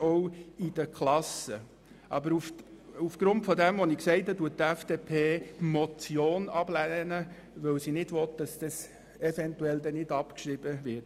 Aufgrund dessen, was ich gesagt habe, lehnt die FDP jedoch diese Motion ab, weil sie nicht will, dass die Motion angenommen und nicht abgeschrieben wird.